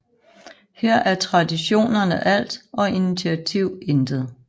Her er traditionerne alt og initiativ intet